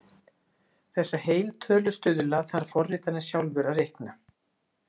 Þessa heiltölustuðla þarf forritarinn sjálfur að reikna.